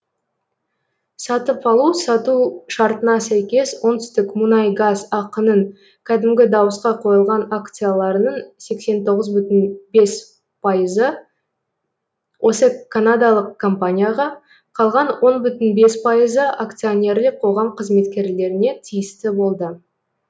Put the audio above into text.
сатып алу сату шартына сәйкес оңтүстікмунайгаз ақ ның кәдімгі дауысқа қойылған акцияларының сексен тоғыз бүтін бес пайызы осы канадалық компанияға қалған он бүтін бес пайызы акционерлік қоғам қызметкерлеріне тиісті болды